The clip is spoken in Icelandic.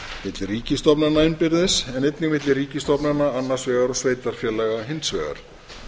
milli ríkisstofnana innbyrðis en einnig milli ríkisstofnana annars vegar og sveitarfélaga hins vegar